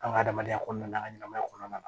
An ka adamadenya kɔnɔna ɲɛnamaya kɔnɔna na